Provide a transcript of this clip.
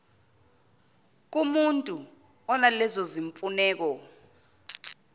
kumutu onalezo zimfuneko